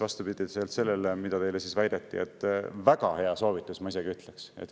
Vastupidiselt sellele, mida teile väideti, väga hea soovitus, ma isegi ütleks.